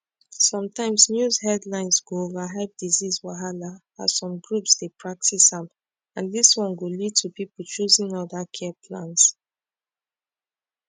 sometimes news headlines go overhype disease wahala as some groups dey practice am and this one go lead to people choosing other care plans